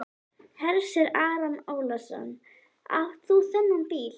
Hersir Aron Ólafsson: Átt þú þennan bíl?